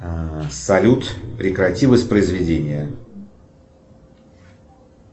салют прекрати воспроизведение